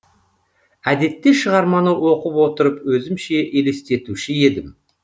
әдетте шығарманы оқып отырып өзімше елестетуші едім